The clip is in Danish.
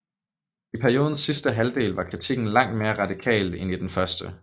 I periodens sidste halvdel var kritikken langt mere radikal end i den første